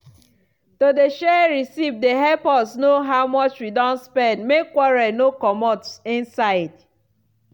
to dey share receipt dey help us know how much wi don spend make quarrel for no comot inside.